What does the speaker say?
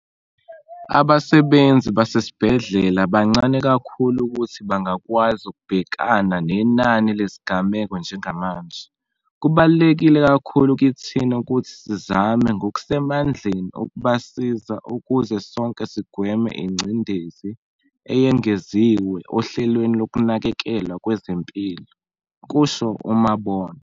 "Abasebenzi basesibhedlela bancane kakhulu ukuthi bangakwazi ukubhekana nenani lezigameko njengamanje. Kubaluleke kakhulu kithina ukuthi sizame ngokusemandleni ukubasiza ukuze sonke sigweme ingcindezi eyengeziwe ohlelweni lokunakekelwa kwezempilo," kusho uMabona.